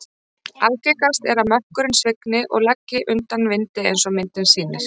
Algengast er að mökkurinn svigni og leggi undan vindi eins og myndin sýnir.